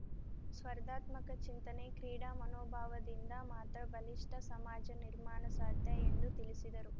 ಸ್ಪರ್ಧಾತ್ಮಕ ಚಿಂತನೆ ಕ್ರೀಡಾ ಮನೋಭಾವದಿಂದ ಮಾತ್ರ ಬಲಿಷ್ಠ ಸಮಾಜ ನಿರ್ಮಾಣ ಸಾಧ್ಯ ಎಂದು ತಿಳಿಸಿದರು